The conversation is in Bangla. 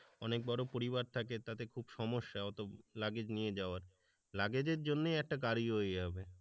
অনেক বড় পরিবারটাকে তাতে খুব সমস্যা অতো লাগেজ নিয়ে যাওয়ার, লাগেজের জন্যই একটা গাড়ি হয়ে যাবে।